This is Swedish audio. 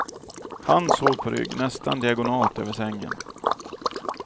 Han sov på rygg, nästan diagonalt över sängen.